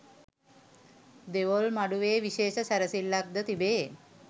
දෙවොල් මඩුවේ විශේෂ සැරසිල්ලක්ද තිබේ